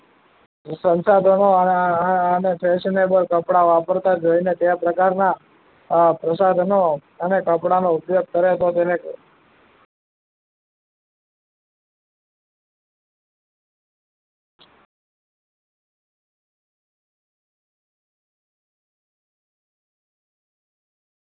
સંસાધનો અને fashionable કપડા વાપરતા જોઈને તેવા પ્રકારના પ્રસાધનો અને કપડાનો ઉપયોગ કરે તો તેને